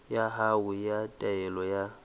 ya hao ya taelo ya